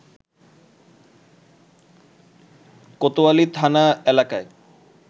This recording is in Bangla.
কোতোয়ালি থানা এলাকায়